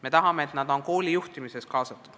Me tahame, et nad oleksid kooli juhtimisse kaasatud.